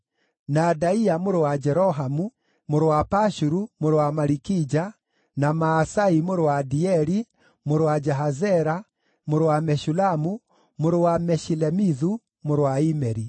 na Adaia mũrũ wa Jerohamu, mũrũ wa Pashuru, mũrũ wa Malikija; na Maasai mũrũ wa Adieli, mũrũ wa Jahazera, mũrũ wa Meshulamu, mũrũ wa Meshilemithu, mũrũ wa Imeri.